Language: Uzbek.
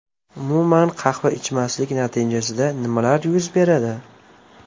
Umuman qahva ichmaslik natijasida nimalar yuz beradi?